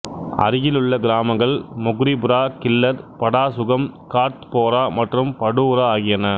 அருகிலுள்ள கிராமங்கள் மொக்ரிபுரா கில்லர் படாசுகம் கார்த்போரா மற்றும் படூரா ஆகியன